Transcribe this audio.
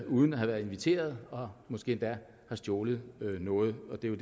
uden at have været inviteret og måske endda har stjålet noget og det er jo